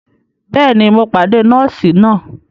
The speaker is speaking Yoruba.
Bẹẹni, Mó pàdé nọọsi náà